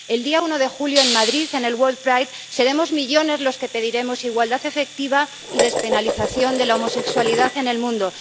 El día 1 de julio en Madrid, en el World Pride, seremos millones los que pediremos igualdad efectiva y despenalización de la homosexualidad en el mundo.